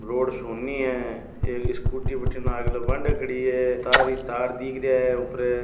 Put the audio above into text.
रोड सुनी है एक स्कूटी बटिने आगले बांडे खड़ी है तार ही तार दिख रहिया है ऊपरे।